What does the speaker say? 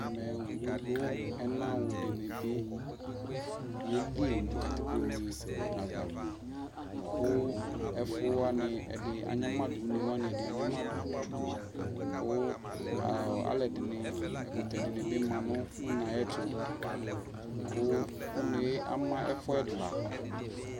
ɛmɛ ɔwʋ lʋ ɛna wʋ dinibi yɛli nʋ katikpɔnɛ aɣa kʋ ɛƒʋ wani ɛdi anyama dʋ, ʋnɛ wani ɛdi anyamadʋ kʋ alʋɛdini, ɛkʋtɛ dinibi manʋ ʋnɛ ayɛtʋ kʋ ɔnɛ ama ɛƒʋ ɛla